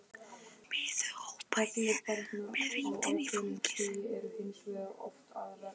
Því miður, hrópa ég með vindinn í fangið.